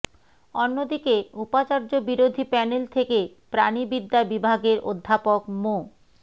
অন্যদিকে উপাচার্য বিরোধী প্যানেল থেকে প্রাণিবিদ্যা বিভাগের অধ্যাপক মো